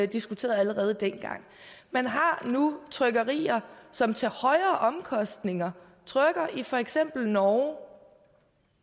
diskuteret allerede dengang man har nu trykkerier som til højere omkostninger trykker i for eksempel norge